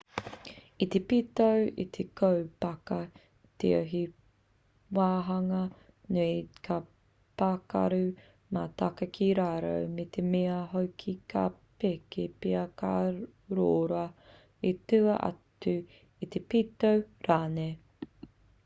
i te pito o te kōpaka tio he wāhanga nui ka pakaru mai taka ki raro me te mea hoki ka peke pea ka rōra i tua atu i te pito rānei